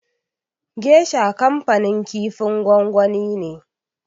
Gesha kanfanin kifin gwangwani ne.